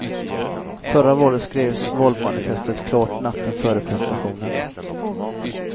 Förra valet skrevs valmanifestet klart natten före presentationen.